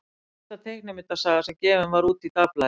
Hvað hét fyrsta teiknimyndasagan sem gefin var út í dagblaði?